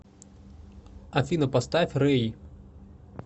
афина поставь рэй